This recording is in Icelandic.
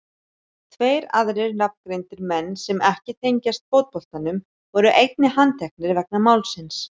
Tveir aðrir nafngreindir menn sem ekki tengjast fótboltanum voru einnig handteknir vegna málsins.